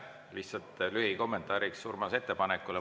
Lihtsalt lühikommentaariks Urmase ettepanekule.